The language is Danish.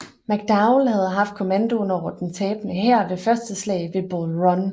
McDowell havde haft kommandoen over den tabende hær ved Første slag ved Bull Run